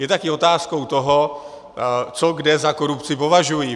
Je také otázkou toho, co kde za korupci považují.